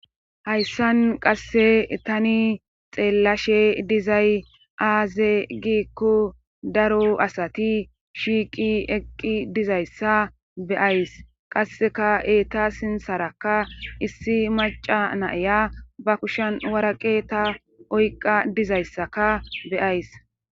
hayssan qasse tani xeellashe dizay aaze giikku daro asati shiiqi eqqi dizayssa beyays qasseka eeta sinsarakka issi maca naya ba kushen waraqe ta oyqa dizayssaka beyays